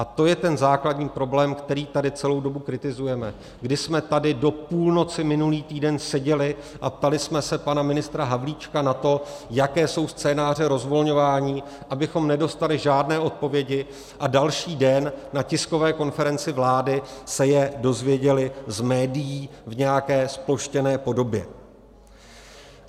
A to je ten základní problém, který tady celou dobu kritizujeme, kdy jsme tady do půlnoci minulý týden seděli a ptali jsme se pana ministra Havlíčka na to, jaké jsou scénáře rozvolňování, abychom nedostali žádné odpovědi a další den na tiskové konferenci vlády se je dozvěděli z médií v nějaké zploštěné podobě.